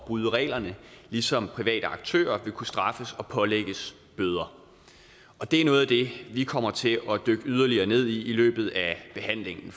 bryde reglerne ligesom private aktører vil kunne straffes og pålægges bøder og det er noget af det vi kommer til at dykke yderligere ned i i løbet af behandlingen